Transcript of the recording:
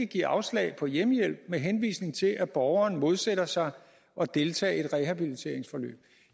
give afslag på hjemmehjælp med henvisning til at borgeren modsætter sig at deltage i et rehabiliteringsforløb